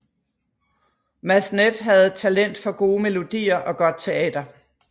Massenet havde talent for gode melodier og godt teater